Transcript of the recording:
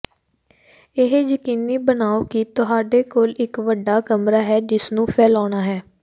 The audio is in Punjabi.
ਇਹ ਯਕੀਨੀ ਬਣਾਓ ਕਿ ਤੁਹਾਡੇ ਕੋਲ ਇਕ ਵੱਡਾ ਕਮਰਾ ਹੈ ਜਿਸਨੂੰ ਫੈਲਾਉਣਾ ਹੈ